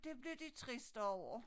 Det blev de triste over